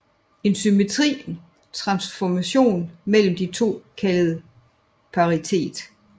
En symmetri transformation mellem de to kaldes paritet